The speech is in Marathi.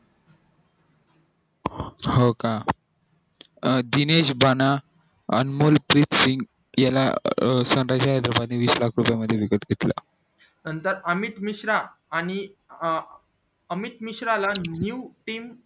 हो का दिनेश भाना अनमोल याला अं वीस लाख रुपये मध्ये विकत घेतलं नंतर अमित मिश्रा आणि अमित मिश्रा ला new team